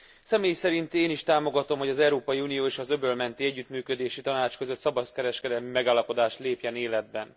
Személy szerint én is támogatom, hogy az Európai Unió és az Öböl Menti Együttműködési Tanács között szabadkereskedelmi megállapodás lépjen életbe.